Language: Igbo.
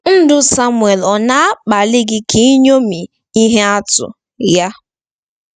Ndụ Samuel ọ̀ na-akpali gị ka iṅomi ihe atụ ya?